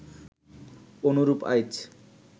অনুরূপ আইচ